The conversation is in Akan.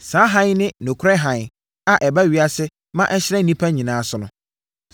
Saa hann yi ne nokorɛ hann a ɛba ewiase ma ɛhyerɛn nnipa nyinaa so no.